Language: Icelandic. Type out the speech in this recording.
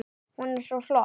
Hún er svo flott!